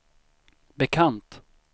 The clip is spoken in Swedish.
bekant